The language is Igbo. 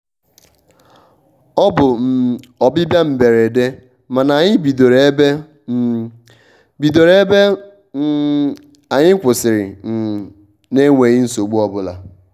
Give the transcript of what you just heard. ọ bụ um ọbịbịa mberede mana anyị bidoro ebe um bidoro ebe um anyị kwụsirị um n'enweghi nsogbu obụla.